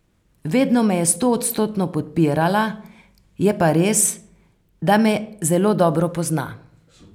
Vedno me je stoodstotno podpirala, je pa res, da me zelo dobro pozna.